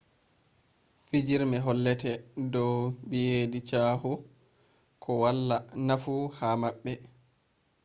fijirme hollete dow beyidi chaahu ko to wala nafu ha mabbe